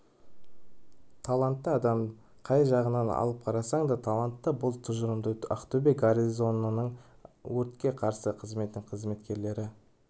талантты адам қай жағынан алып қарасаң да талантты бұл тұжырымды ақтөбе гарнизонының өртке қарсы қызметінің қызметкерлері